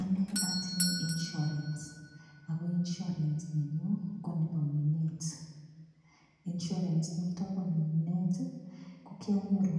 Ane atinye insurance ago insurance nenyun ko nebo Minet. Insurance niton bo minet ko kianyoru